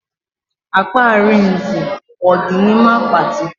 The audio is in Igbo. Akpa Arinze ọ dị n'ime akpati?